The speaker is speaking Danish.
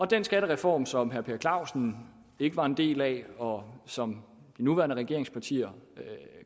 den skattereform som herre per clausen ikke var en del af og som de nuværende regeringspartier